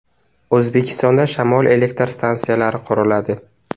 O‘zbekistonda shamol elektr stansiyalari quriladi.